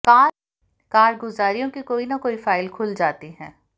कारगुजारियों की कोई न कोई फाइल खुल जाती है